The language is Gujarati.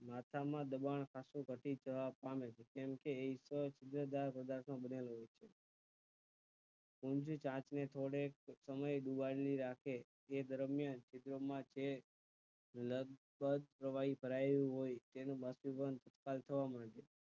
પ્રવાહી ભરાયું હોય તેનુ પરિવહન ટટાર થવા થી વિવિધ સ્થિતિ માં એકદમ સ્થિર થતાં પેહલા તે પાછું ક્યારેય સુધી હાલકડોલક થાય ઍટલે but weather બાષ્પીભવન ઝડપી બને